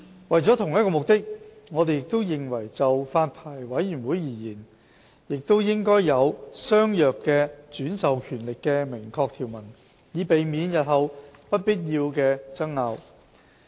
為着同一個目的，我們認為就發牌委員會而言，亦應有相若的轉授權力的明確條文，以避免日後不必要的爭拗。